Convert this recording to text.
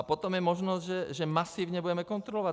A potom je možnost, že masivně budeme kontrolovat.